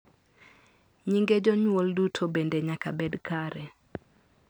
nyinge jonyuol duto bende nyaka bed kare